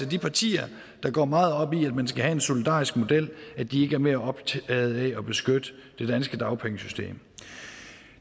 de partier der går meget op i at man skal have en solidarisk model ikke er mere optaget af at beskytte det danske dagpengesystem